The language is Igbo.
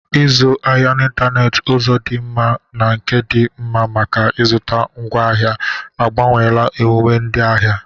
Ịzụ ahịa n'ịntanetị, ụzọ dị mma na nke dị mma maka ịzụta ngwaahịa, agbanweela omume ndị ahịa.